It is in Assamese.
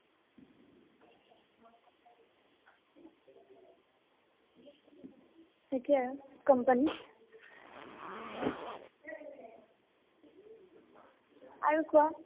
সেইটোয়ে company ত । আৰু কোৱা।